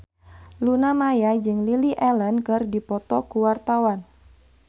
Luna Maya jeung Lily Allen keur dipoto ku wartawan